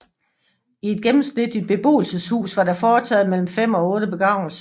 I et gennemsnitligt beboelseshus var der foretaget mellem 5 og 8 begravelser